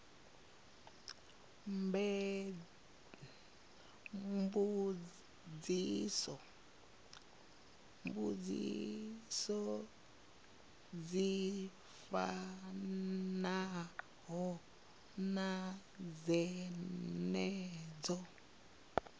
mbudziso dzi fanaho na dzenedzo